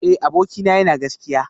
Eh abokina yana gaskiya